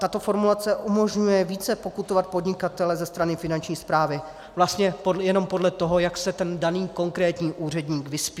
Tato formulace umožňuje více pokutovat podnikatele ze strany Finanční správy vlastně jenom podle toho, jak se ten daný konkrétní úředník vyspí.